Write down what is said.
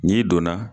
N'i donna